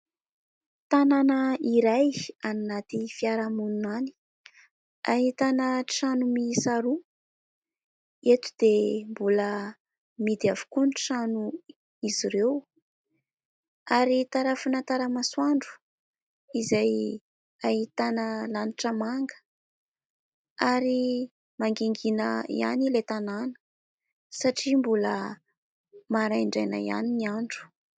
Tanàna iray any anaty fiarahamonina any, ahitàna trano miisa roa. Eto dia mbola mihidy avokoa ny tranon'izy ireo, ary tarafina tara-masoandro izay ahitàna lanitra manga, ary mangingina ihany ilay tanàna satria mbola maraindraina ihany ny andro.